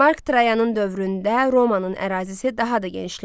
Mark Trayanın dövründə Romanın ərazisi daha da genişləndi.